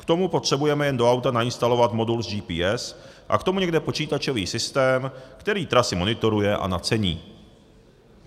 K tomu potřebujeme jen do auta nainstalovat modul s GPS a k tomu někde počítačový systém, který trasy monitoruje a nacení.